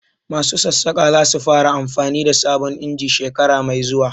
Masu Sassaƙa za su fara amfanin da sabon injin shekara mai zuwa